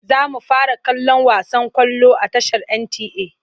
Za mu fara kallon wasan ƙwallo a tashar NTA.